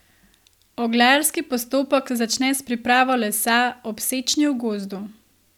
Oglarski postopek se začne s pripravo lesa ob sečnji v gozdu.